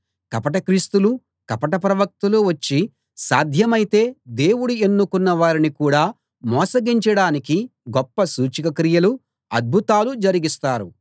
కపట క్రీస్తులు కపట ప్రవక్తలు వచ్చి సాధ్యమైతే దేవుడు ఎన్నుకున్న వారిని కూడా మోసగించడానికి గొప్ప సూచక క్రియలూ అద్భుతాలూ జరిగిస్తారు